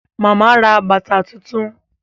Màmá ra bàtà tuntun